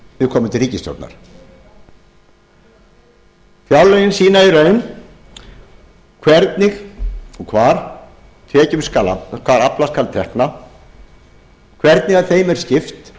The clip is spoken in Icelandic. viðkomandi ríkisstjórnar fjárlögin sýna í raun hvernig og hvar aflað skal tekna hvernig þeim er skipt